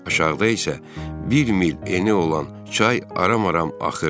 Aşağıda isə bir mil eni olan çay ara-maram axırdı.